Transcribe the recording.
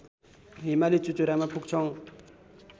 हिमाली चुचुरामा पुग्छौं